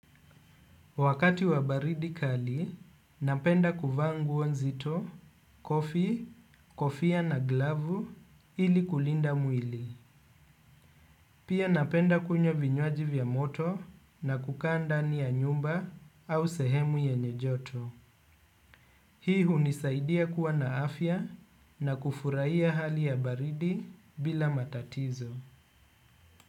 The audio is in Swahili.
Wakati wa baridi kali, napenda kuvaa nguo nzito, kofi, kofia na glavu ili kulinda mwili. Pia napenda kunywa vinywaji vya moto, na kukaa ndani ya nyumba au sehemu yenye joto. Hii hunisaidia kuwa na afya na kufurahia hali ya baridi bila matatizo.